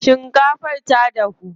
Shinkafar ta dahu.